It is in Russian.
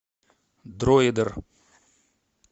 дроидер